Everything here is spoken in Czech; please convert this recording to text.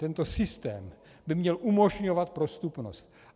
Tento systém by měl umožňovat prostupnost.